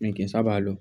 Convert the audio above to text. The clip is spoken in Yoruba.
Mi kì í sábà lọ.